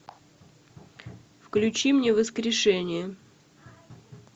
включи мне воскрешение